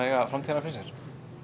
eiga framtíðina fyrir sér